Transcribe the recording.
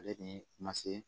Ale ni ma se